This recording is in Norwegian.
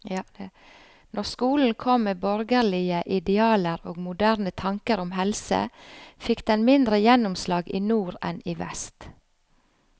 Når skolen kom med borgerlige idealer og moderne tanker om helse, fikk den mindre gjennomslag i nord enn i vest.